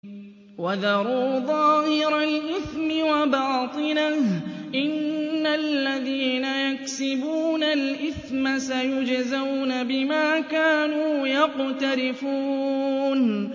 وَذَرُوا ظَاهِرَ الْإِثْمِ وَبَاطِنَهُ ۚ إِنَّ الَّذِينَ يَكْسِبُونَ الْإِثْمَ سَيُجْزَوْنَ بِمَا كَانُوا يَقْتَرِفُونَ